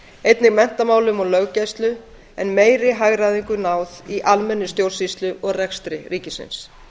einnig menntamálum og löggæslu en meiri hagræðingu náð í almennri stjórnsýslu og rekstri ríkisins